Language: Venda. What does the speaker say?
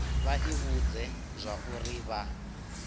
vha i vhudze zwauri vha